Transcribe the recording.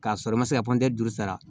K'a sɔrɔ i ma se ka juru sara